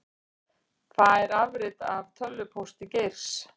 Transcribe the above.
Fær afrit af tölvupósti Geirs